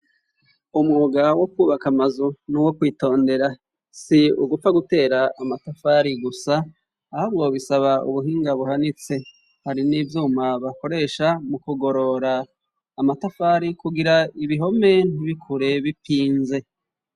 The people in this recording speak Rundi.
Umwuga wo kubaka amazu nuwo kwitondera si ugupfa gutera amatafari gusa ahubwo bisaba ubuhinga buhanitse hari n'ivyuma bakoresha mu kugorora amatafari kugira ibihome ntibikure bipinze.